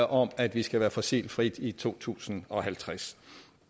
om at vi skal være fossilfrit i to tusind og halvtreds